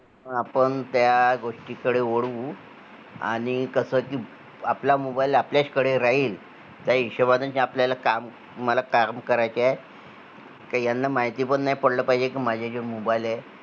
आपण त्या गोष्टी कडे वळू आणि कस कि आपला mobile आपल्याच कडे राहील त्याहिशोबानीच आपल्याला काम, मला काम करायचे आहे कि याना माहिती पण नाही पडलं पाहिजे कि माझ्या जवळ mobile आहे